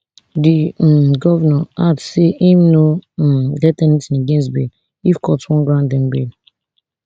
di um govnor add say im no um get anytin against bail if court wan grant dem bail